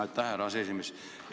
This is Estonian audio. Aitäh, härra aseesimees!